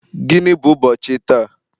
Gịnị bụ ụbọchị taa?